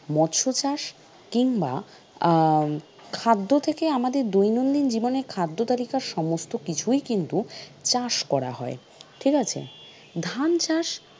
মৎসর চাষ, কিংবা আহ খাদ্য থেকে আমাদের দৈনন্দিন জীবনে খাদ্য তালিকার সমস্ত কিছু কিন্তু চাষ করা হয়, ঠিক আছে, ধান চাষ